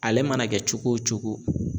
Ale mana kɛ cogo wo cogo